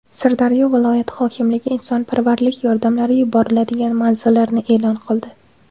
Sirdaryo viloyati hokimligi insonparvarlik yordamlari yuboriladigan manzillarni e’lon qildi.